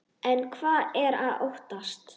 En hvað er að óttast?